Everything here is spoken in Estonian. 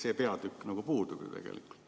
See peatükk puudub ju tegelikult.